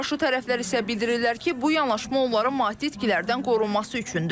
Qarşı tərəflər isə bildirirlər ki, bu yanaşma onların maddi itkilərdən qorunması üçündür.